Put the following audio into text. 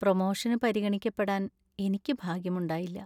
പ്രൊമോഷന് പരിഗണിക്കപ്പെടാൻ എനിക്ക് ഭാഗ്യമുണ്ടായില്ല.